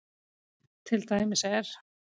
Til dæmis er